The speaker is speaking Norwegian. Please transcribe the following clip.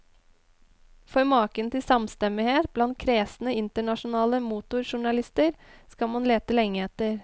For maken til samstemmighet blant kresne internasjonale motorjournalister skal man lete lenge etter.